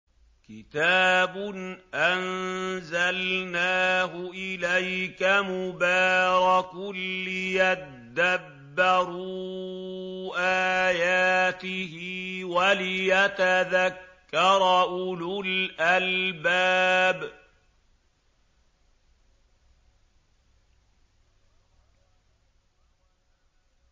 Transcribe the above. كِتَابٌ أَنزَلْنَاهُ إِلَيْكَ مُبَارَكٌ لِّيَدَّبَّرُوا آيَاتِهِ وَلِيَتَذَكَّرَ أُولُو الْأَلْبَابِ